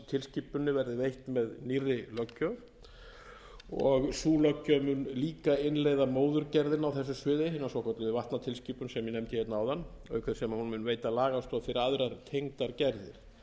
nýrri löggjöf og sú löggjöf mun líka innleiða móðurgerðina á þessu sviði hina svokölluðu vatnatilskipun sem ég nefndi hérna áðan auk þess sem hún mun veita lagastoð fyrir aðrar tengdar gerðir